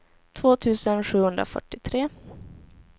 två tusen sjuhundrafyrtiotre